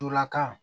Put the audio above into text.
Ntolan kan